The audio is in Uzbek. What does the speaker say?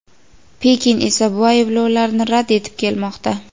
Pekin esa bu ayblovlarni rad etib kelmoqda.